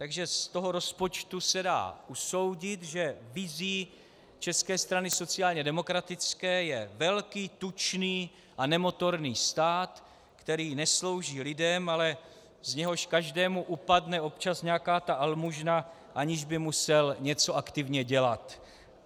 Takže z toho rozpočtu se dá usoudit, že vizí České strany sociálně demokratické je velký, tučný a nemotorný stát, který neslouží lidem, ale z něhož každému upadne občas nějaká ta almužna, aniž by musel něco aktivně dělat.